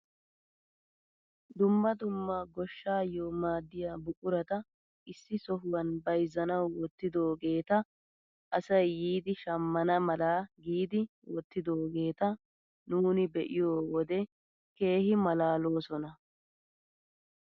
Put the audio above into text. Dumma dumma gooshshaayoo maddiyaa buqurata issi sohuwaan bayzzanawu wottidoogeta asay yiidi shammana mala giidi wottidoogeta nuuni be'iyoo wode keehi malaalosona!